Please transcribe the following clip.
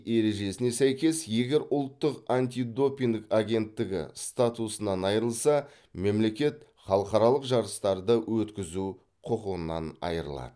ережесіне сәйкес егер ұлттық антидопинг агенттігі статусынан айырылса мемлекет халықаралық жарыстарды өткізу құқынан айырылады